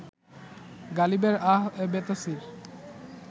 গালিবের আহ এ বেতাসির